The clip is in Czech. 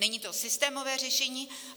Není to systémové řešení.